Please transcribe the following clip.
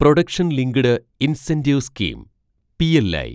production linked incentive scheme (PLI)